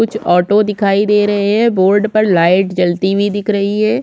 कुछ ऑटो दिखाई दे रहै है बोर्ड पर लाइट जलती हुई दिख रही है।